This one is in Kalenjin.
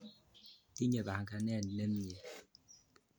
Tinye panganet ne mye.